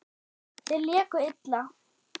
Þeir léku illa.